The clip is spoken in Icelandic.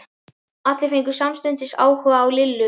Allir fengu samstundis áhuga á Lillu.